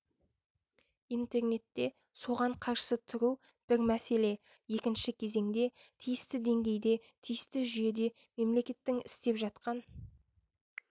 интернетте соған қарсы тұру бір мәселе екінші кезеңде тиісті деңгейде тиісті жүйеде мемлекеттің істеп жатқан